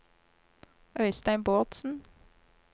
Øistein Bårdsen